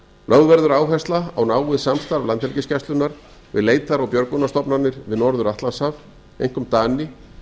lögð verður áhersla á hríð samstarf landhelgisgæslunnar við leitar og björgunarstofnanir við norður atlantshaf einkum dani